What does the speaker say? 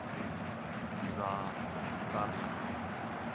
zakaria